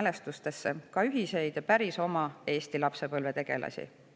mälestusi ka ühistest ja päris oma Eesti lapsepõlvetegelastest.